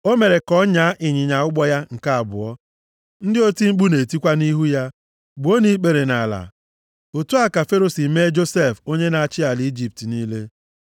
O mere ka ọ nyaa ịnyịnya ụgbọ ya nke abụọ. Ndị oti mkpu na-etikwa nʼihu ya, “Gbuonụ ikpere nʼala.” Otu a ka Fero si mee Josef onye na-achị ala Ijipt niile.